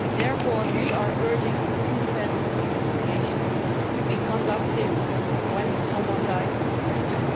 Therefore we are urging independent investigations to be conducted when someone dies in detention.